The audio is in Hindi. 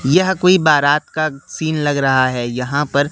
यह कोई बारात का सीन लग रहा है यहां पर--